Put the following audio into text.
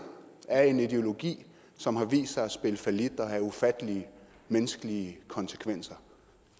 af en ideologi som har vist sig at spille fallit og have ufattelige menneskelige konsekvenser